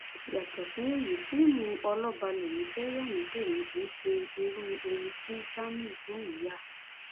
yàtọ sí èyí fíìmù ọlọba lẹmí fẹẹ yá ni tèmi kì í ṣe irú ohun tí jamiu lòún yà